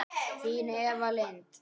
Þín Eva Lind.